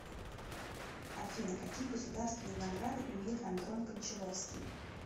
афина какие государственные награды имеет андрон кончаловскии